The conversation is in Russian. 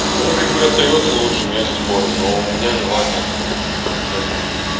ну как бы остаётся лучшим я не спорю но у меня желание к ближайшее дни